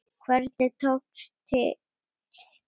Hvernig tókst til?